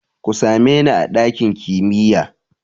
Ku same ni a ɗakin kimiya!